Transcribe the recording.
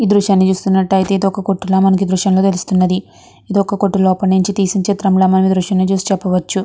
ఇక్కడ చూస్తూ నటు ఒక కుటు కనిపిస్తుంది. కుటు నుండి చుశ్ర్టు నటు ఉన్నదీ.